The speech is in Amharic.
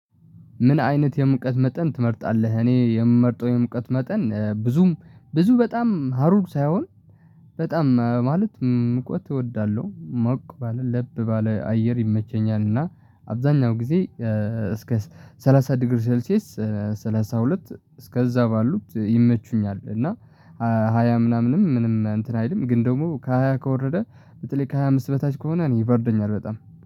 ምን አይነት የሙቀት መጠን ትመርጣለህ? እኔ የምመርጠው የሙቀት መጠን ብዙም ብዙ በጣም ሀሩር ሳይሆን በጣም ማለት ሙቀት እወዳለሁ። ሞቅ ባለ ለብ ባለ አየር ይመቸኛል እና አብዛኛው ጊዜ እስከ ሰ ሰላሳ ዲግሪ ሴልሺየስ ሰላሳ ሁለት እስከዛ ባሉት ይመቹኛል እና ሃያ ምናምንም ምንም እንትን አይልም ግን ደግሞ ከሃያ ከወረደ በተለይ ከሃያ አምስት በታች ከሆነ እኔ ይበርደኛል በጣም